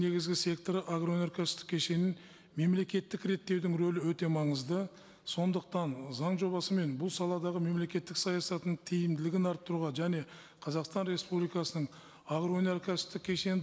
негізгі секторы агроөнеркәсіптік кешенін мемлекеттік реттеудің рөлі өте маңызды сондықтан заң жобасы мен бұл саладағы мемлекеттік саясатының тиімділігін арттыруға және қазақстан республикасының агроөнеркәсіптік кешенін